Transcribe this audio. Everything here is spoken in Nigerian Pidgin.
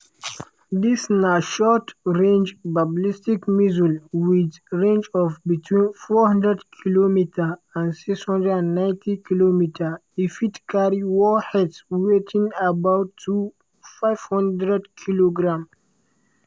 dis na short-range ballistic missile wit range of between 400km and 690km e fit carry warheads weighing up to 500kg.